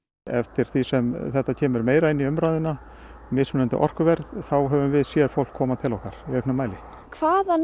eftir því sem þetta kemur meira inn í umræðuna mismunandi orkuverð þá höfum við séð fólk koma til okkar í auknum mæli hvaðan